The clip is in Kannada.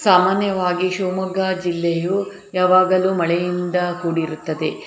ಸಾಮಾನ್ಯವಾಗಿ ಶಿವಮೊಗ್ಗ ಜಿಲ್ಲೆಯ ಯಾವಾಗಲೂ ಮಳೆಯಿಂದ ಕೂಡಿರುತ್ತದೆ.